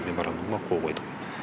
меморандумға қол қойдық